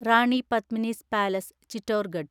Rani Padmini's palace (Chittorgarh)